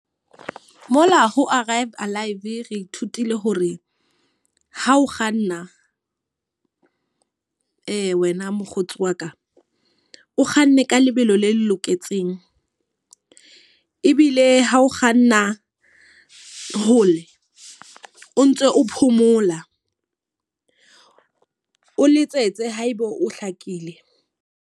Mola ho Arrive Alive, re ithutile hore ha o kganna wena mokgotsi wa ka. O kganne ka lebelo le loketseng. Ebile ha o kganna hole o ntso o phomola, o letsetse haebe o hlakile.